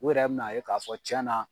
O yɛrɛ bi n'a ye k'a fɔ cɛn na.